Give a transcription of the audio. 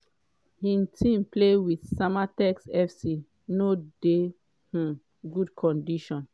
im team play wit samatex fc no dey um good condition.